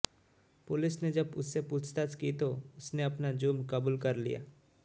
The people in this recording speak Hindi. पुलिस ने जब उससे पूछताछ की तो उसने अपना जुर्म कबूल कर लिया